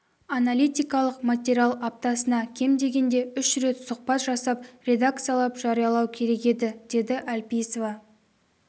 аналитикалық материал аптасына кем дегенде үш рет сұхбат жасап редакциялап жариялау керек еді деді әлпейісова